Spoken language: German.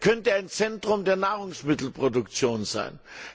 Er könnte ein Zentrum der Nahrungsmittelproduktion sein.